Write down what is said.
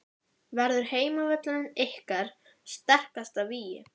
Verður heimavöllurinn ykkar sterkasta vígi?